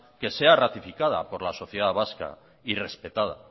que sea ratificada por la sociedad vasca y respetada